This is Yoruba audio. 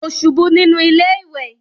Mo ṣubú nínú ilé ìwẹ̀